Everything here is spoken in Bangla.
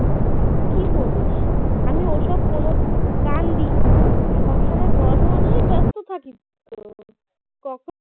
কি বলিস আমি ওসব কোন কান দিইনি সব সময় পড়াশোনা নিয়ে ব্যস্ত থাকি তো কখনও